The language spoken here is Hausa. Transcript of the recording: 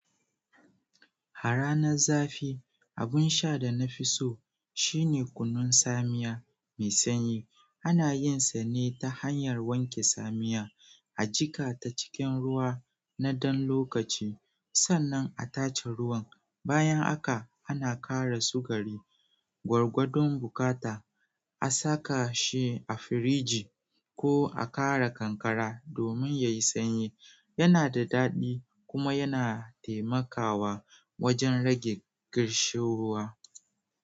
A ranar zafi, abun sha da na fi so shine kunun tsamiya mai sanyi. Ana yin sa ne ta hanyar wanke tsamiya, a jika ta cikin ruwa na ɗan lokaci, sannan a tace ruwan. Bayan haka ana ƙara sugari, gwargwadon bukata, a saka shi a firiji ko a ƙara kankara domin ya yi sanyi. Yana da daɗi kuma yana taimakawa wajen rage ƙarshu ruwa.